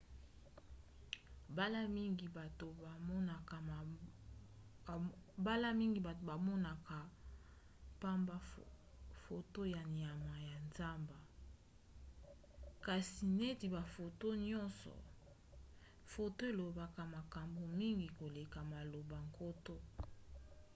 mbala mingi bato bamonaka pamba foto ya banyama ya zamba kasi neti bafoto nyonso foto elobaka makambo mingi koleka maloba nkoto